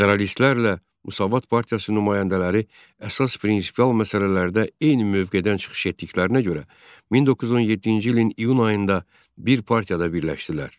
Federalistlərlə Müsavat partiyasının nümayəndələri əsas prinsipial məsələlərdə eyni mövqedən çıxış etdiklərinə görə 1917-ci ilin iyun ayında bir partiyada birləşdilər.